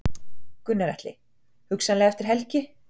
Gunnar Atli: Hugsanlega eftir helgi?